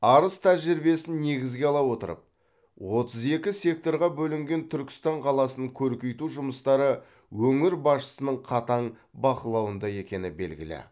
арыс тәжірибесін негізге ала отырып отыз екі секторға бөлінген түркістан қаласын көркейту жұмыстары өңір басшысының қатаң бақылауында екені белгілі